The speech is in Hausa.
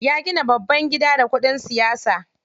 Ya gina babban gida da kuɗin siyasa.